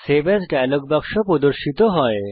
save as dialog বাক্স প্রর্দশিত হয়